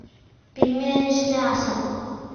пельмени с мясом